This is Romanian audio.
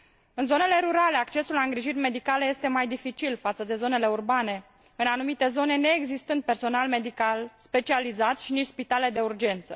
În zonele rurale, accesul la îngrijiri medicale este mai dificil față de zonele urbane, în anumite zone neexistând personal medical specializat și nici spitale de urgență.